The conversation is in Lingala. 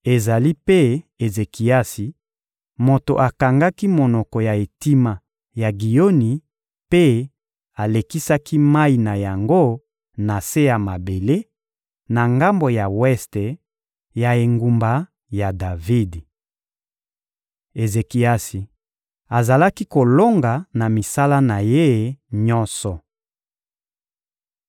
Ezali mpe Ezekiasi moto akangaki monoko ya etima ya Giyoni mpe alekisaki mayi na yango na se ya mabele, na ngambo ya weste ya engumba ya Davidi. Ezekiasi azalaki kolonga na misala na ye nyonso.